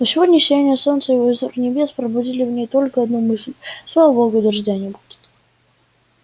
но сегодня сияние солнца и лазурь небес пробудили в ней только одну мысль слава богу дождя не будет